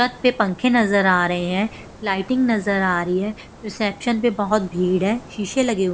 प पंखे नजर आ रहे हैं लाइटिंग नजर आ रही है रिसेप्शन पर बहुत भीड़ है शीशे लगे हुए।